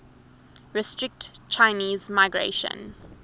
restrict chinese migration